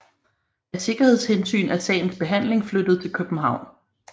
Af sikkerhedshensyn er sagens behandling flyttet til København